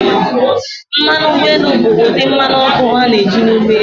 Mmanụ ụgbọ elu bụ ụdị mmanụ ọkụ a na-eji na ụgbọ elu.